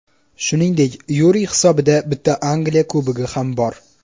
Shuningdek, Yuriy hisobida bitta Angliya Kubogi ham bor.